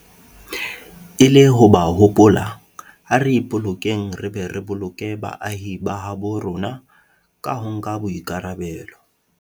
E le ho ba hopola, ha re ipolokeng re be re boloke le baahi ba habo rona ka ho nka boikarabelo.